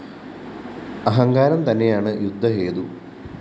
അഹങ്കാരം തന്നെയാണ് യുദ്ധ ഹേതു